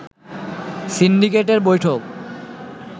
সিন্ডিকেটের বৈঠক